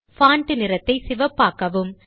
font நிறத்தை சிவப்பாக்கவும்